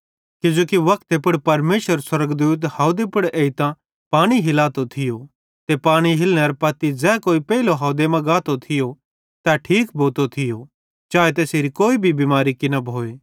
किजोकि वक्ते पुड़ परमेशरेरो स्वर्गदूत हावदे पुड़ एइतां पानी हिलातो थियो ते पानी हिलनेरां पत्ती ज़ै कोई पेइलो हवदे मां गातो थियो तै ठीक भोतो थियो चाए तैसेरी कोई भी बिमारी किना भोए